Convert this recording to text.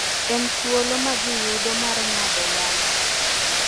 en thuolo ma ji yudo mar ng’ado wach